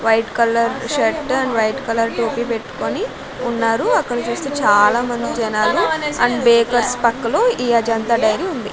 White colour shirt and white colour టోపీ పెట్టుకోని ఉన్నారు అక్కడ చుస్తే చాలా మంది జనాలు అండ్ బేకర్స్ పక్క లో ఈ అజంతా డైరీ ఉంది.